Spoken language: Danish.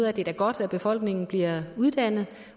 at det da er godt at befolkningen bliver uddannet